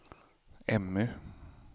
Emmy